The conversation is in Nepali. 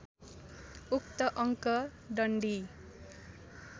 उक्त अङ्क डन्डी